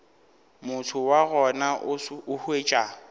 motho wa gona o hwetša